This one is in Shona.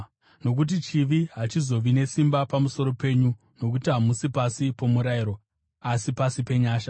Nokuti chivi hachichazovi nesimba pamusoro penyu, nokuti hamusi pasi pomurayiro, asi pasi penyasha.